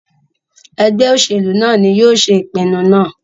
Ẹgbẹ oṣelu naa ni yóò ṣe ipinnu naa